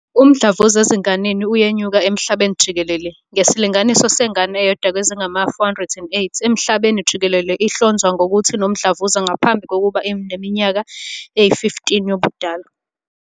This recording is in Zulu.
Umdlavuza ezinganeni uyenyuka emhlabeni jikelele, ngesilinganiso sengane eyodwa kwezingama-408 emhlabeni jikelele ihlonzwa ngokuthi inomdlavuza ngaphambi kokuba ibe neminyaka eyi-15 yobudala.